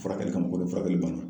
Furakɛli kama k'o don furakɛli banna